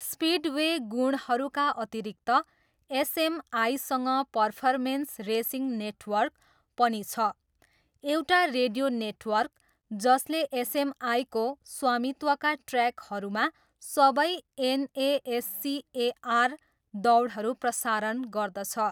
Speedway गुणहरूका अतिरिक्त एसएमआईसँग पर्फर्मेन्स रेसिङ नेटवर्क पनि छ, एउटा रेडियो नेटवर्क, जसले एसएमआईको स्वामित्वका ट्र्याकहरूमा सबै एनएएससिएआर दौडहरू प्रसारण गर्दछ।